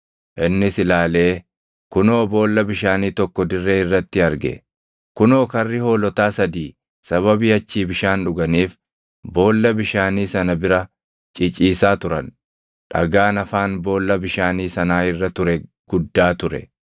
Innis ilaalee kunoo boolla bishaanii tokko dirree irratti arge; kunoo karri hoolotaa sadii sababii achii bishaan dhuganiif boolla bishaanii sana bira ciciisaa turan. Dhagaan afaan boolla bishaanii sanaa irra ture guddaa ture.